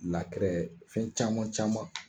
fɛn caman caman